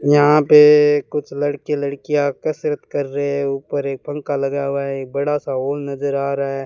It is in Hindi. यहां पे कुछ लड़के लड़कियां कसरत कर रहे हैं ऊपर एक पंखा लगा हुआ है एक बड़ा सा नजर आ रहा है।